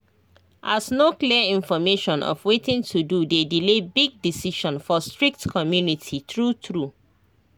as no clear information of watin to do dey delay big decision for strict community true true